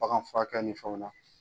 Bagan furakɛ ni fɛnw na.